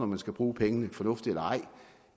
man skal bruge pengene fornuftigt eller ej